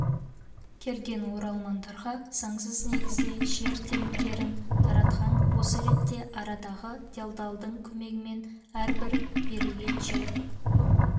келген оралмандарға заңсыз негізде жер телімдерін таратқан осы ретте арадағы делдалдың көмегімен әрбір берілген жер